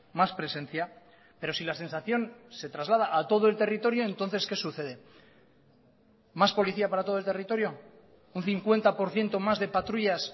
más presencia pero si la sensación se traslada a todo el territorio entonces qué sucede más policía para todo el territorio un cincuenta por ciento más de patrullas